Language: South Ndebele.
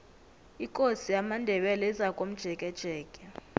ikosi yamandebele izakomjekejeke